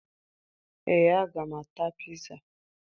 Ee, aga m ata piza